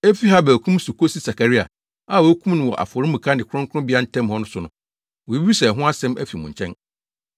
efi Habel kum so kosi Sakaria, a wokum no wɔ afɔremuka ne kronkronbea ntam hɔ no so, wobebisa ɛho asɛm afi mo nkyɛn.